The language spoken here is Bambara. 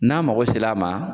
N'an mago sera a ma